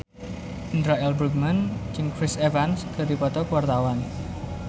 Indra L. Bruggman jeung Chris Evans keur dipoto ku wartawan